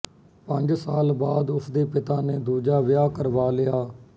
ਪੰਜ ਸਾਲ ਬਾਅਦ ਉਸ ਦੇ ਪਿਤਾ ਨੇ ਦੂਜਾ ਵਿਆਹ ਕਰਵਾ ਲਿਆ